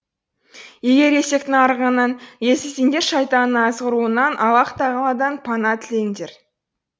егер есектің арығаннан естісеңдер шайтанның азғыруынан аллаһ тағаладан пана тілеңдер